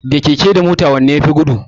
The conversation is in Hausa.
Da keke da mota wanne yafi gudu?